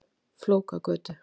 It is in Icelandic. Flókagötu